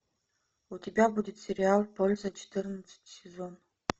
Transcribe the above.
у тебя будет сериал польза четырнадцатый сезон